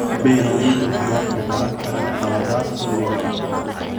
Beeraleydu waxay wax ka baran karaan khaladaadkoodii hore.